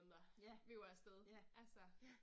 Ja, ja, ja